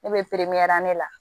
Ne bɛ pepeyɛri ne la